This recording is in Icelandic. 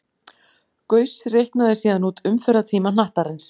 Gauss reiknaði síðan út umferðartíma hnattarins.